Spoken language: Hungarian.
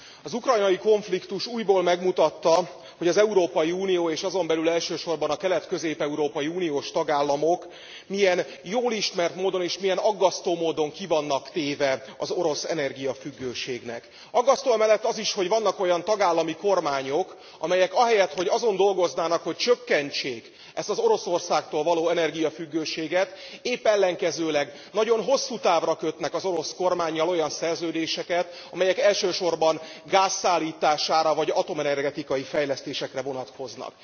Az ukrajnai konfliktus újból megmutatta, hogy az Európai Unió és azon belül elsősorban a kelet közép európai uniós tagállamok milyen jól ismert módon, és milyen aggasztó módon ki vannak téve az orosz energiafüggőségnek. Aggasztó amellett az is, hogy vannak olyan tagállami kormányok, amelyek ahelyett, hogy azon dolgoznának, hogy csökkentsék ezt az Oroszországtól való energiafüggőséget, épp ellenkezőleg, nagyon hosszútávra kötnek az orosz kormánnyal olyan szerződéseket, amelyek elsősorban gáz szállítására vagy atomenergetikai fejlesztésekre vonatkoznak.